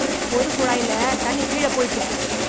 பொது குழாயில தண்ணி கீழ போயிட்டு இருக்கு.